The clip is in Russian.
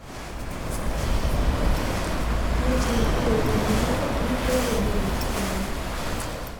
есть ли у тебя терминатор битва за будущее